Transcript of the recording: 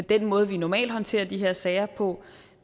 den måde vi normalt håndterer de her sager på